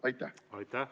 Aitäh!